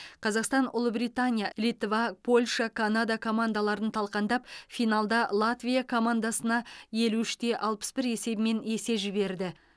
қазақстан ұлыбритания литва польша канада командаларын талқандап финалда латвия командасына елу үште алпыс бір есебімен есе жіберді